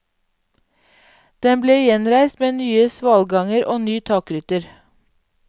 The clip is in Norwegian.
Den ble gjenreist med nye svalganger og ny takrytter.